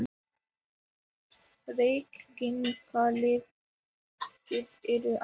Reykingalyktin er ann